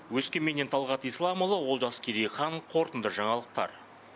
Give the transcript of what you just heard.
өскеменнен талғат исламұлы олжас керейхан қорытынды жаңалықтар